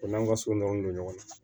O n'an ka so nɔnɔ don ɲɔgɔn na